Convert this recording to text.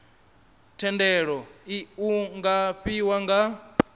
thendelo iu nga fhiwa nga